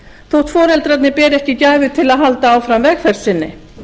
þótt foreldrarnir beri ekki gæfu til að halda áfram vegferð sinni